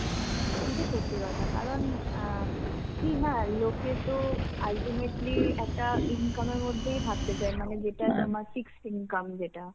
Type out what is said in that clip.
এটা সত্যি কথা, কারণ আ কি হ্যাঁ লোকে তো ultimately একটা income এর মধ্যেই থাকতে চায়. মানে যেটা আমার fixed income যেটা.